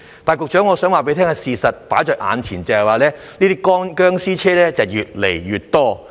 但是，局長，我想告訴你，放在眼前的事實是這些"殭屍車"越來越多。